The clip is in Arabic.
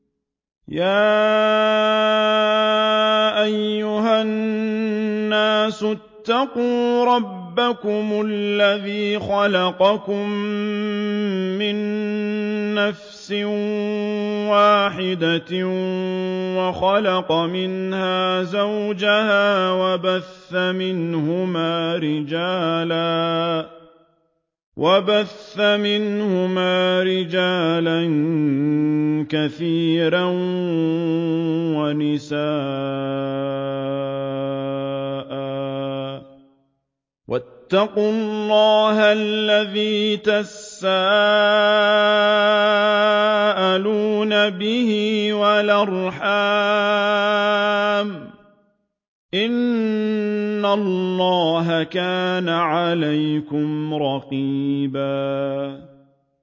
يَا أَيُّهَا النَّاسُ اتَّقُوا رَبَّكُمُ الَّذِي خَلَقَكُم مِّن نَّفْسٍ وَاحِدَةٍ وَخَلَقَ مِنْهَا زَوْجَهَا وَبَثَّ مِنْهُمَا رِجَالًا كَثِيرًا وَنِسَاءً ۚ وَاتَّقُوا اللَّهَ الَّذِي تَسَاءَلُونَ بِهِ وَالْأَرْحَامَ ۚ إِنَّ اللَّهَ كَانَ عَلَيْكُمْ رَقِيبًا